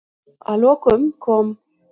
Að lokum kom